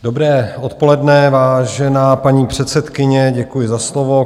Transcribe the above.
Dobré odpoledne, vážená paní předsedkyně, děkuji za slovo.